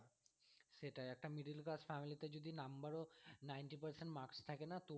সেটাই একটা middle-class family তে যদি number ও ninety percent marks থাকে না তবুও